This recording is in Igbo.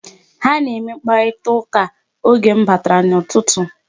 Ha na-eme mkparitaụka oge m batara n'ụtụtụ.